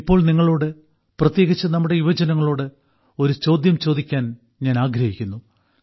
ഇപ്പോൾ നിങ്ങളോട് പ്രത്യേകിച്ച് നമ്മുടെ യുവജനങ്ങളോട് ഒരു ചോദ്യം ചോദിക്കാൻ ഞാൻ ആഗ്രഹിക്കുന്നു